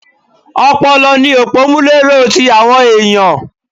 Ọpọlọ ni òpọ́múléró ti àwọn ẹ̀yàn.